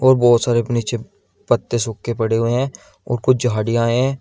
और बहोत सारे नीचे पत्ते सूखे पड़े हुए हैं और कुछ झाड़ियां हैं।